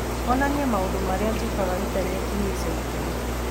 onania maũndũ marĩa njĩkaga Intaneti-inĩ ica ikuhĩ